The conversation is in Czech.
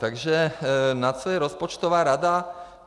Takže na co je rozpočtová rada?